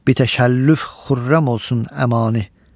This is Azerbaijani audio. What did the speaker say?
Bitəşəllüf xürrəm olsun Əmani.